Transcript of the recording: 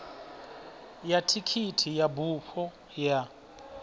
ya thikhithi ya bufho ya